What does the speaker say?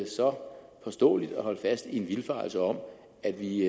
så påståeligt at holde fast i en vildfarelse om at vi